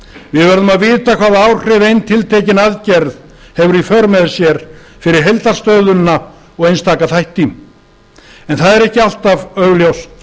við verðum að vita hvaða áhrif ein tiltekin aðgerð hefur í för með sér fyrir heildarstöðuna og einstaka þætti en það er ekki alltaf augljóst